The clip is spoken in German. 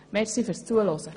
Danke fürs Zuhören.